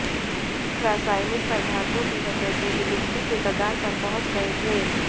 रासायनिक पदार्थों की वजह से विलुप्ति के कगार पर पहुंच गये थे